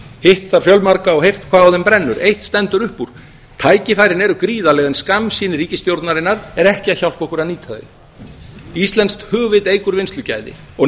hitt þar fjölmarga og heyrt hvað á þeim brennur eitt stendur upp úr tækifærin eru gríðarleg en skammsýni ríkisstjórnarinnar hjálpar okkur ekki að nýta þau íslenskt hugvit eykur vinnslugæði og